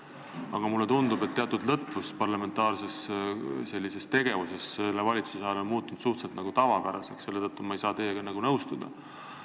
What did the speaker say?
Aga mulle tundub, et teatud lõtvus parlamentaarses tegevuses on selle valitsuse ajal muutunud suhteliselt tavapäraseks, selle tõttu ei saa ma teiega nõustuda.